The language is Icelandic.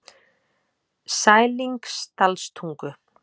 Sælingsdalstungu